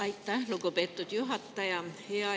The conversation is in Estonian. Aitäh, lugupeetud juhataja!